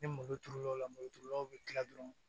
Ni muru turulen o la moriturulaw be kila dɔrɔn